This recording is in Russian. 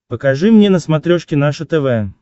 покажи мне на смотрешке наше тв